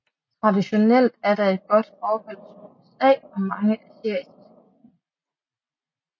Traditionelt er der et godt forhold til USA og mange asiatiske lande